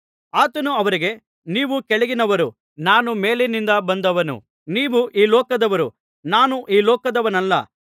ಆತನು ಅವರಿಗೆ ನೀವು ಕೆಳಗಿನವರು ನಾನು ಮೇಲಿನಿಂದ ಬಂದವನು ನೀವು ಈ ಲೋಕದವರು ನಾನು ಈ ಲೋಕದವನಲ್ಲ